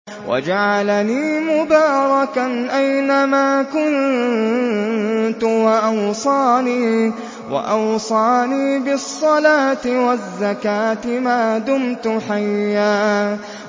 وَجَعَلَنِي مُبَارَكًا أَيْنَ مَا كُنتُ وَأَوْصَانِي بِالصَّلَاةِ وَالزَّكَاةِ مَا دُمْتُ حَيًّا